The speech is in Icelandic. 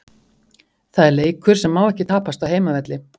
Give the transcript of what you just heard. Það er leikur sem má ekki tapast á heimavelli.